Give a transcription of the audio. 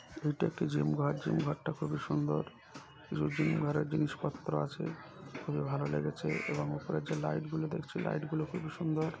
এইটা একটি জিম ঘর। জিম ঘরটা খুবই সুন্দর। কিছু জিম ঘরের জিনিসপত্র আছে। খুবই ভালো লেগেছে এবং উপরের যে লাইট গুলো দেখছি লাইট গুলো খুবই সুন্দর।